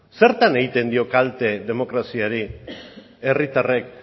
zertan egiten dio kalte demokraziari herritarrek